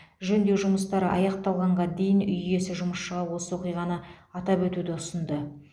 жөндеу жұмыстары аяқталғанға дейін үй иесі жұмысшыға осы оқиғаны атап өтуді ұсынды